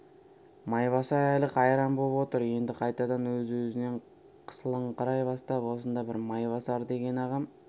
майбасар әлі қайран боп отыр енді қайтадан өз-өзінен қысылыңқырай бастап осында бір майбасар деген ағам